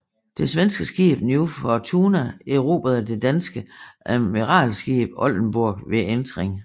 Det svenske skib New Fortuna erobrede det danske admiralskib Oldenborg ved entring